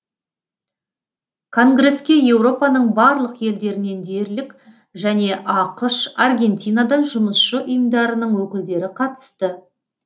конгреске еуропаның барлық елдерінен дерлік және ақш аргентинадан жұмысшы ұйымдарының өкілдері қатысты